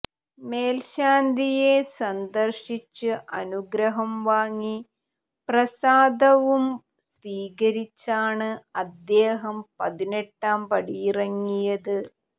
മേൽശാന്തിയെ സന്ദർശിച്ച് അനുഗ്രഹം വാങ്ങി പ്രസാദവും സ്വീകരിച്ചാണ് അദ്ദേഹം പതിനെട്ടാംപടിയിറങ്ങിയത്